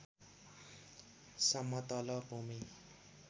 समतल भूमी